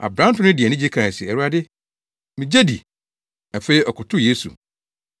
Aberante no de anigye kae se, “Awurade, migye di.” Afei ɔkotow Yesu.